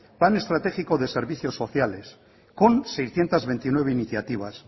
plan estratégico de servicio sociales con seiscientos veintinueve iniciativas